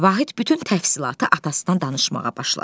Vahid bütün təfsilatı atasından danışmağa başladı.